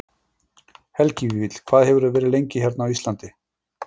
Helgi Vífill: Hvað hefurðu verið lengið hérna á Íslandi?